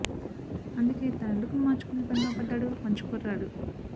అందుకే తన లుక్ ను మార్చుకునే పనిలో పడ్డాడు మంచు కుర్రాడు